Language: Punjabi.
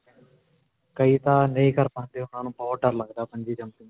ਕਈ ਤਾਂ ਨਹੀਂ ਕਰ ਪਾਂਦੇ. ਉਨ੍ਹਾਂ ਨੂੰ ਬਹੁਤ ਦਰ ਲਗਦਾ bungee jumping.